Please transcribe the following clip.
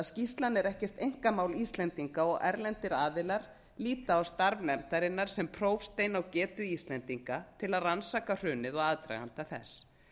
skýrslan er ekkert einkamál íslendinga og erlendir aðilar líta á starf nefndarinnar sem prófstein á getu íslendinga til að rannsaka hrunið og aðdraganda þess